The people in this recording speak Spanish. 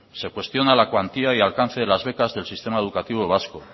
se cuestiona la cuantía y alcance de las becas del sistema educativo vasco